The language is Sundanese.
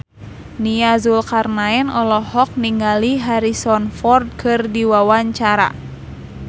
Nia Zulkarnaen olohok ningali Harrison Ford keur diwawancara